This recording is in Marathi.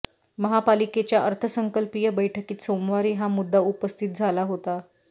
महापालिकेच्या अर्थसंकल्पीय बैठकीत सोमवारी हा मुद्दा उपस्थित झाला होता